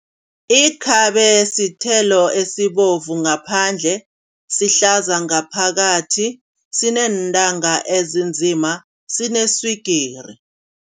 Ikhabe sithelo esibovu ngaphandle sihlaza ngaphakathi, sineentanga ezinzima sineswigiri.